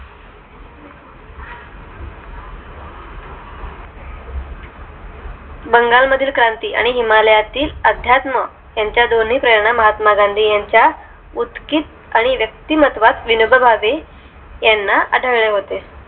बंगाल मध्ये क्रांती हिमालयातील अध्यात्म यांच्या दोन्ही प्रेरणा महात्मा गांधी यांच्या उतकित आणि व्यक्तिमत्वात विनोबा भावे ह्यांना आढळे होते